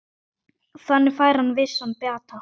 Þannig fær hann vissan bata.